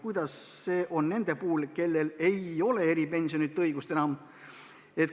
Kuidas hakkab asi olema nende puhul, kellel ei ole enam eripensioni õigust?